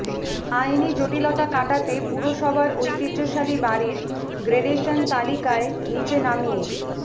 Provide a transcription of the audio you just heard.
আইনি জটিলতা কাটাতে পুরসভার ঐতিহ্যশালী বাড়ির গ্রেডেশন তালিকায় নীচে নামিয়ে